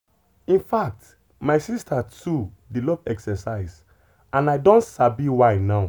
in fact my sister too dey love exercise and i don sabi why now.